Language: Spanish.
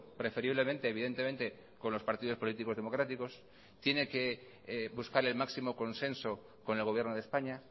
preferiblemente evidentemente con los partidos políticos democráticos tiene que buscar el máximo consenso con el gobierno de españa